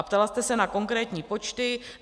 A ptala jste se na konkrétní počty.